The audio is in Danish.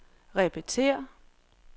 repetér